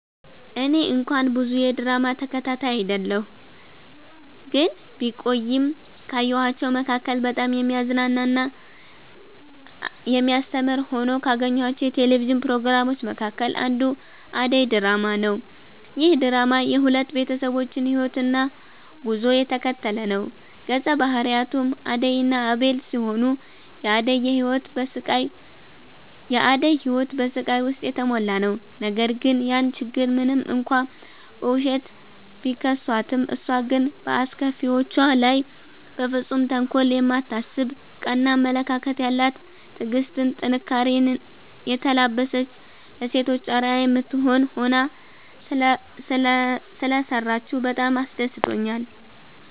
እኔ እንኳን ብዙ የድራማ ተከታታይ አይደለሁ ግን ቢቆይም ካየኋቸዉ መካከል በጣም የሚያዝናና እና የሚያስተምር ሆነው ካገኘኋቸው የቴሌቪዥን ፕሮግራሞች መካከል አንዱ አደይ ድራማ ነዉ። ይህ ድራማ የሁለት ቤተሰቦችን ህይወትና ጉዞ የተከተለ ነዉ ገፀ ባህሪያቱም አደይ እና አቤል ሲሆኑ የአደይ ህይወት በስቃይ ዉስጥ የተሞላ ነዉ ነገር ግን ያን ችግር ሞንም እንኳን በዉሸት፣ ቢከሷትም እሷ ግን በአስከፊዎቿ ላይ በፍፁም ተንኮል የማታስብ ቀና አመለካከት ያላት ትዕግስትን፣ ጥንካሬኔ የተላበሰች ለሴቶች አርአያ የምትሆን ሆና ሰለሰራችዉ በጣም አስደስቶኛል።